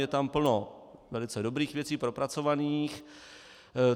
Je tam plno velice dobrých věcí, propracovaných.